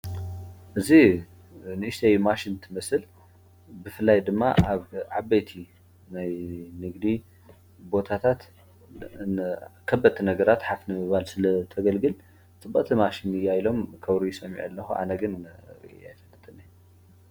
እዚ ንእሽተይ ማሽን ትመስል ብፍላይ ድማ አብ ዓበይቲ ናይ ንግዲ ቦታታት ከበድቲ ነገራት ሓፍ ንምባል ስለተገልግል ፅብቅቲ ማሽን እያ ኢሎም ከውርዩ ሰሚዐ አለኩ፡፡ ኣነ ግን ርእየያ አይፈልጥን አየ።